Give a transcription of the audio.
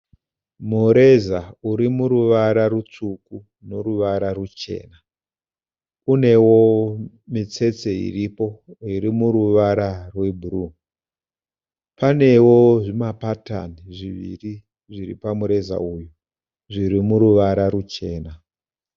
Mureza uri muruvara rutsvuku noruvara ruchena. Unewo mitsetse iripo iri muruvara rwebhuruu. Panewo zvimapatani zviviri zviri pamureza uyu zviri muruvara ruchena.